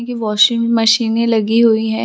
washing मशीने लगी हुई है